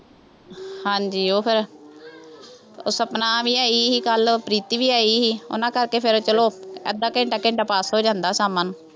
ਹਾਂਜੀ ਉਹ ਫੇਰ, ਉਹ ਸਪਨਾ ਵੀ ਆਈ ਸੀ ਕੱਲ੍ਹ, ਪ੍ਰੀਤੀ ਵੀ ਆਈ ਸੀ, ਉਹਨਾ ਕਰਕੇ ਫੇਰ ਚੱਲੋ, ਅੱਧਾ-ਘੰਂਟਾ, ਘਂੰਟਾ pass ਹੋ ਜਾਂਦਾ, ਸ਼ਾਮਾਂ ਨੂੰ,